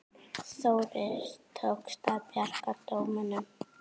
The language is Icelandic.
Þórir: Tókst að bjarga dómunum?